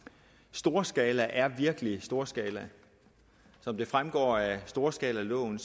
storskala er virkelig storskala som det fremgår af storskalaloven